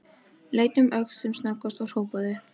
Leit um öxl sem snöggvast og hrópaði.